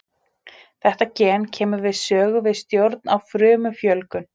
Þetta gen kemur við sögu við stjórn á frumufjölgun.